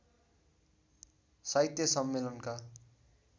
साहित्य सम्मेलनका